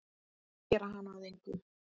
Gera hana að engu.